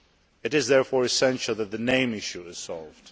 It is therefore essential that the name issue is solved.